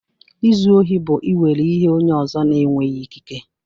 Izu ohi bụ ị were ihe onye ọzọ na-enweghị ikike.